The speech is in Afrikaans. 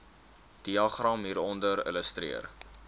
diagram hieronder illustreer